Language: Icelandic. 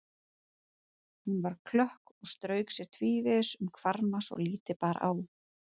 Hún var klökk og strauk sér tvívegis um hvarma svo lítið bar á.